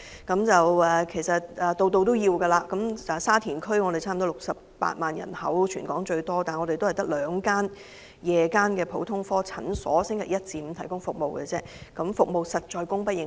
全港人口最多的沙田區差不多有68萬的居民，但該區只有兩間夜間普通科診所在星期一至五提供服務，服務實在供不應求。